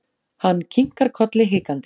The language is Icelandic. Hann kinkar kolli hikandi.